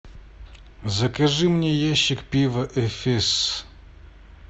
закажи мне ящик пива эфес